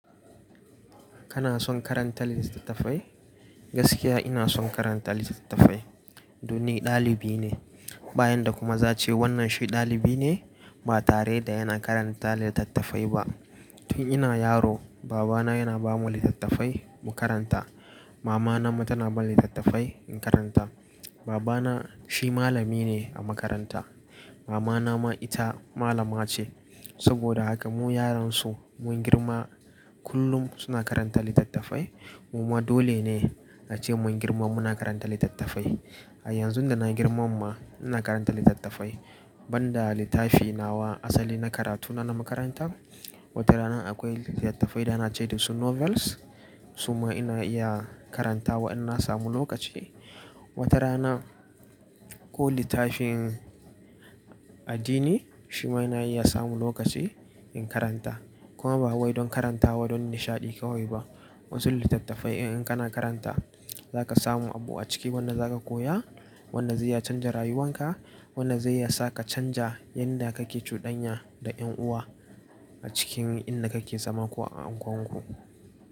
Kana son karanta litattafai? Gaskiya ina son karanta litattafai. Dole ɗalibi ne, bayan da kuma za a ce wannan shi ɗalibi ne ba tare da yana karanta litattafai ba. Tun ina yaro babana yana bamu litattafai mu karanta. Mamana ma tana ban litattafai in karanta. Babana shi malami ne a makaranta. Mamana ma ita malama ce. Saboda haka mu yaran su mun girma kullum suna karanta littattafai. Muma dole ne a ce mun girma muna karanta litattafai. A yanzu da na girman ma ina karanta litattafai. Banda littafi nawa asali na karatu na, na makaranta. Wata rana akwai littattafai da ana ce da su novels su ma ina iya karanta wa in na samu lokaci. Wata rana ko littafin addini shi ma ina iya samu lokaci in karanta. Kuma ba wai don karantawa don nishaɗi kawai ba. Wasu littattafai ɗin in kana karanta za ka samu abu a ciki wanda za ka koya, wanda zai ya canza rayuwan ka, wanda zai iya sa ka canja yanda kake cuɗanya da ƴan uwa a cikin inda kake zama ko a unguwan ku.